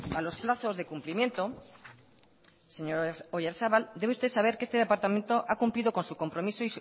a los plazos de cumplimiento señor oyarzabal debe usted saber que este departamento ha cumplido con su compromiso